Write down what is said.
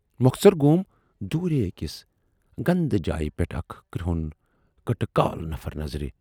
مۅخصر گَوم دوٗرے ٲکِس گَندٕ جایہِ پٮ۪ٹھ اکھ کُرہُن کٕٹہٕ کال نفر نظرِ۔